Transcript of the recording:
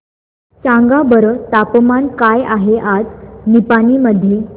सांगा बरं तापमान काय आहे आज निपाणी मध्ये